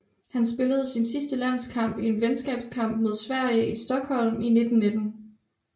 Han spillede sin sidste landskamp i en venskabskamp mod Sverige i Stockholm i 1919